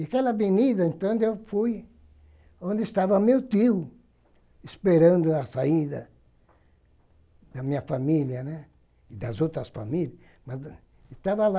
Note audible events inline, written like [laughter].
E aquela avenida, então, [unintelligible] eu fui onde estava meu tio, esperando a saída da minha família né, e das outras famílias, mas estava lá.